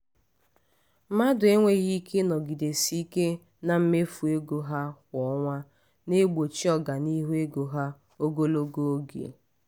mmadụ enweghị ike ịnọgidesi ike na mmefu ego ha kwa ọnwa na-egbochi ọganihu ego ha ogologo oge.